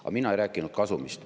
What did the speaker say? Aga mina ei rääkinud kasumist.